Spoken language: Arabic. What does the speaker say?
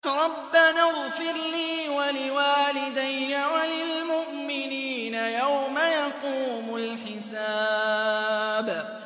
رَبَّنَا اغْفِرْ لِي وَلِوَالِدَيَّ وَلِلْمُؤْمِنِينَ يَوْمَ يَقُومُ الْحِسَابُ